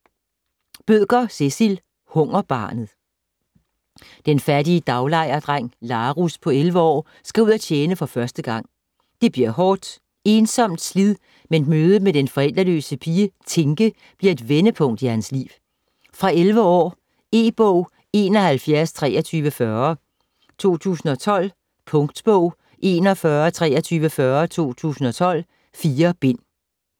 Bødker, Cecil: Hungerbarnet Den fattige daglejerdreng Larus på 11 år skal ud og tjene for første gang. Det bliver hårdt, ensomt slid, men mødet med den forældreløse pige Tinke bliver et vendepunkt i hans liv. Fra 11 år. E-bog 712340 2012. Punktbog 412340 2012. 4 bind.